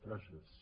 gràcies